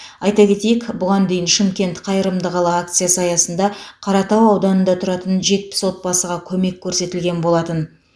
айта кетейік бұған дейін шымкент қайырымды қала акциясы аясында қаратау ауданында тұратын жетпіс отбасыға көмек көрсетілген болатын